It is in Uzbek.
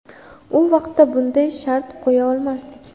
U vaqtda bunday shart qo‘ya olmasdik.